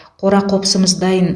қора қопсымыз дайын